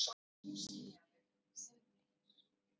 Svo óskiljanleg sem hún er.